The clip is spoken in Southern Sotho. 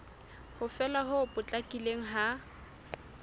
ho fela ho potlakileng ha